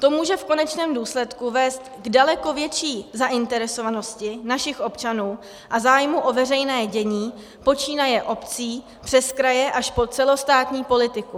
To může v konečném důsledku vést k daleko větší zainteresovanosti našich občanů a zájmu o veřejné dění, počínaje obcí přes kraje až po celostátní politiku.